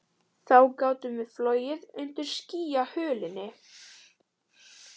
Þá gátum við flogið undir skýjahulunni